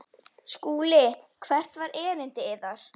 SKÚLI: Hvert var erindi yðar?